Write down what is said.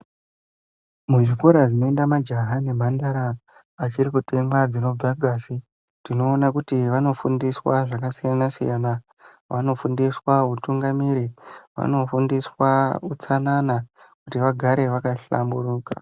Muzvikora zvinoenda majaya nemhandara achiri kutemwa dzinobve ngazi, tinoona kuti vanofundswa zvakasiyana siyana. Vanofundiswa hutungamiri, vanofundiswa utsanana kuti vagare vakahlamburuka.